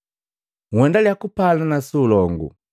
Nhendalia kupalana su ulongu.